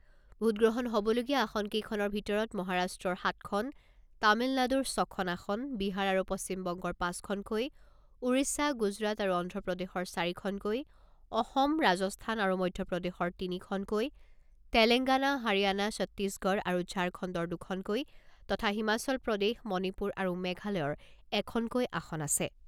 ভোটগ্ৰহণ হ'বলগীয়া আসন কেইখনৰ ভিতৰত মহাৰাষ্ট্ৰৰ সাতখন, তামিলনাডুৰ ছখন আসন, বিহাৰ আৰু পশ্চিমবংগৰ পাঁচখনকৈ, ওড়িশা, গুজৰাট আৰু অন্ধ্ৰপ্ৰদেশৰ চাৰিখনকৈ, অসম, ৰাজস্থান আৰু মধ্যপ্ৰদেশৰ তিনিখনকৈ, তেলেংগানা, হাৰিয়ানা, ছত্তিশগড় আৰু ঝাৰখণ্ডৰ দুখনকৈ তথা হিমাচল প্ৰদেশ, মণিপুৰ আৰু মেঘালয়ৰ এখনকৈ আসন আছে।